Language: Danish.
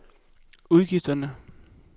udgifterne